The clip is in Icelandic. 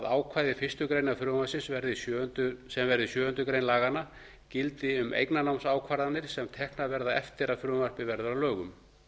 ákvæði fyrstu grein frumvarpsins sem verði sjöundu grein laganna gildi um eignarnámsákvarðanir sem teknar verða eftir að frumvarpið verður að lögum